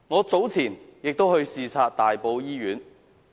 早前，我曾到大埔醫院視察。